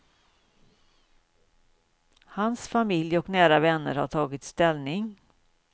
Hans familj och nära vänner har tagit ställning.